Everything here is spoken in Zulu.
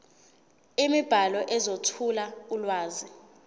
imibhalo ezethula ulwazi